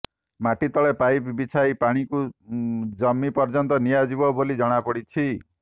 ମାଟି ତଳେ ପାଇପ ବିଛାଇ ପାଣିକୁ ଜମି ପର୍ଯ୍ୟନ୍ତ ନିଆଯିବ ବୋଲି ଜଣାପଡ଼ିଛି